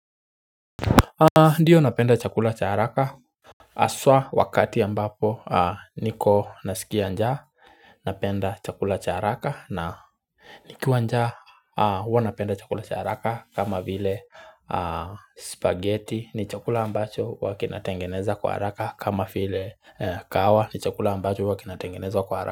Ndio napenda chakula cha haraka haswa wakati ambapo niko nasikia njaa napenda chakula cha haraka na nikiwa njaa huwa napenda chakula cha haraka kama vile spaghetti ni chakula ambacho huwa kinatengenezwa kwa haraka kama vile kahawa ni chakula ambacho huwa kinatengenezwa kwa haraka.